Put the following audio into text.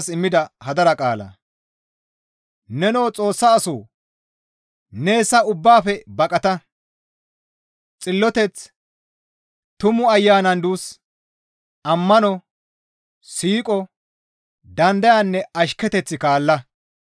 Nenoo Xoossa asoo! Ne hessa ubbaafe baqata; xilloteth, Tumu Ayanan duus, ammano, siiqo, dandayanne ashketeth kaalla.